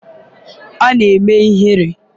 ọ na-eme ihere?